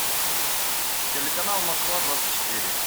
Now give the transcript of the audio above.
телеканал москва двадцать четыре